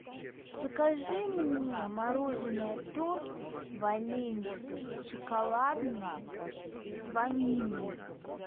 закажи мне мороженое торт валенсия шоколадный с ванилью